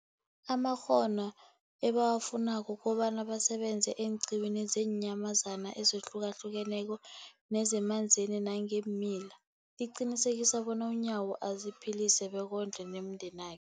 amakghono ebawafunako ukobana basebenze eenqiwini zeenyamazana ezihlukahlukeneko nezemanzini nangeemila, liqinisekisa bona uNyawo aziphilise bekondle nomndena